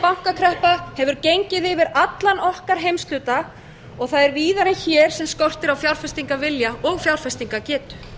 bankakreppa hefur gengið yfir allan okkar heimshluta og það er víðar en hér sem skortir á fjárfestingavilja og fjárfestingargetu